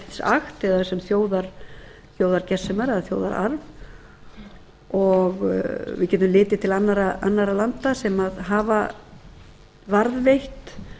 act eða sem þjóðargersemar eða þjóðararf við getum litið til annarra landa sem hafa varðveitt